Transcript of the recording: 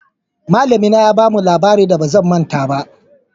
Malami na ya ba mu labarin da ba manta ba.